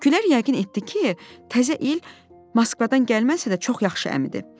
Gülər yəqin etdi ki, təzə il Moskvadan gəlməsə də çox yaxşı əmidir.